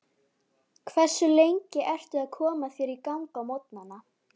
Hversu lengi ertu að koma þér í gang á morgnana?